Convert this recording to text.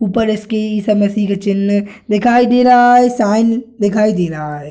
ऊपर इसकी एसमशी का चिन है दिखाई दे रहा है साइन दिखाई दे रहा है।